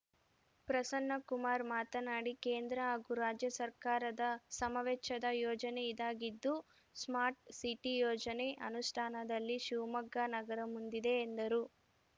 ಪ್ರಸನ್ನ ಕುಮಾರ್‌ ಮಾತನಾಡಿ ಕೇಂದ್ರ ಹಾಗೂ ರಾಜ್ಯ ಸರ್ಕಾರದ ಸಮವೆಚ್ಚದ ಯೊಜನೆ ಇದಾಗಿದ್ದು ಸ್ಮಾರ್ಟ್‌ ಸಿಟಿ ಯೋಜನೆ ಅನುಷ್ಠಾನದಲ್ಲಿ ಶಿವಮೊಗ್ಗ ನಗರ ಮುಂದಿದೆ ಎಂದರು